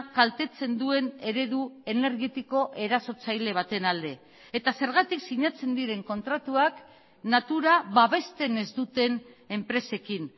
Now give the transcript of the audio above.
kaltetzen duen eredu energetiko erasotzaile baten alde eta zergatik sinatzen diren kontratuak natura babesten ez duten enpresekin